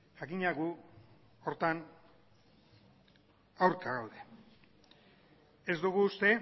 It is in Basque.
jakina gu horretan aurka gaude ez dugu uste